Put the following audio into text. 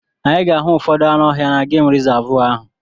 Anyị ga-ahụ ụfọdụ anụ ọhịa na gemụ rizavụ ahụ.